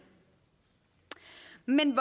men